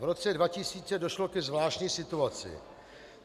V roce 2000 došlo ke zvláštní situaci.